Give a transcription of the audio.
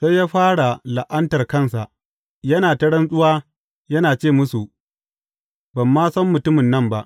Sai ya fara la’antar kansa, yana ta rantsuwa yana ce musu, Ban ma san mutumin nan ba!